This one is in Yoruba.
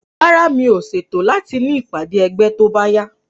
Rárá, mi ò ṣètò láti ní ìpàdé ẹgbẹ́ tóbáyá